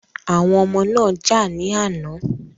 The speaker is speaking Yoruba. Àwọn ọmọ náà jà ní àná.